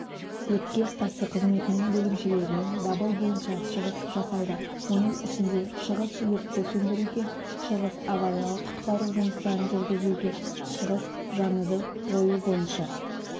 өртке қарсы қызметінің бөлімшелерімен дабыл бойынша шығыс жасалды оның ішінде шығыс өртті сөндіруге шығыс авариялық-құтқару жұмыстарын жүргізуге шығыс жануды жою бойынша